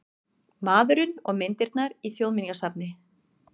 Maðurinn og myndirnar í Þjóðminjasafni